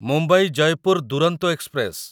Mumbai Jaipur Duronto express